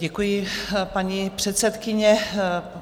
Děkuji, paní předsedkyně.